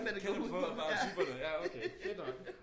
Kan udpeje typerne ja okay fedt nok